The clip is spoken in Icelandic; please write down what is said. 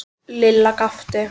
Lilla gapti.